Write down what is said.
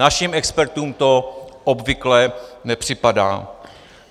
Naším expertům to obvyklé nepřipadá.